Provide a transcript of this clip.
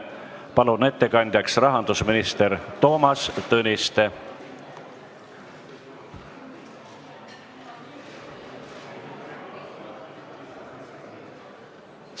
Palun ettekandjaks rahandusminister Toomas Tõniste!